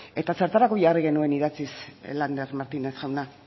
eta zertarako jarri genuen idatziz lander martínez jauna